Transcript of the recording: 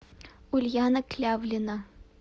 ульяна клявлина